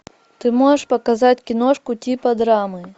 ты можешь показать киношку типа драмы